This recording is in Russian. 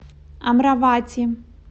амравати